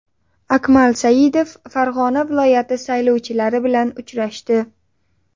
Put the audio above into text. Akmal Saidov Farg‘ona viloyati saylovchilari bilan uchrashdi.